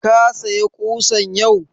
Ka saya ƙusan yau?